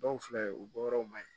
Dɔw filɛ u bɔyɔrɔ ma yen